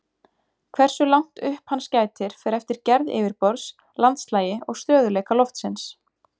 Hversu langt upp hans gætir fer eftir gerð yfirborðs, landslagi og stöðugleika lofsins.